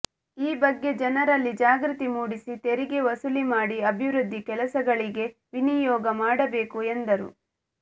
ಈ ಬಗ್ಗೆ ಜನರಲ್ಲಿ ಜಾಗೃತಿಮೂಡಿಸಿ ತೆರಿಗೆ ವಸೂಲಿ ಮಾಡಿ ಅಭಿವೃದ್ಧಿ ಕೆಲಸಗಳಿಗೆ ವಿನಿಯೋಗ ಮಾಡಬೇಕು ಎಂದರು